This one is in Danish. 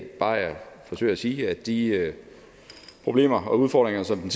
bare jeg forsøger at sige at de problemer og udfordringer som den